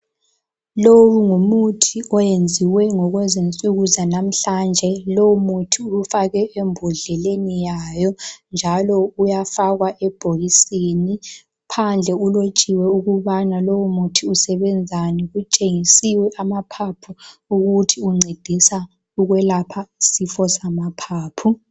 Lowu ngumuthi owenziwe kwezensuku zanamhlanje lowo muthi ufakwe ebhodleleni wayo njalo uyafakwa ebhokisini. Phandle ulotshiwe ukubana lowo muthi usebenzani kutshengisiwe amaphapho ukuthi uncedisa ukulapha isifo samaphapho.